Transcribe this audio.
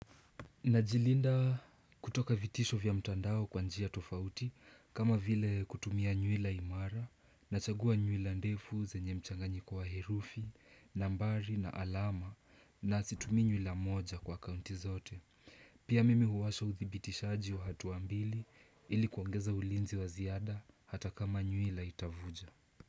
Najilinda kutoka vitisho vya mtandao kwa njia tofauti kama vile kutumia nyuila imara na chagua nyuila ndefu zenye mchanganyiko wa herufi, nambari na alama na situmii nyuila moja kwa kaunti zote. Pia mimi huwasha uthibitishaji wa hatua mbili ili kuongeza ulinzi wa ziada hata kama nyuila itavuja.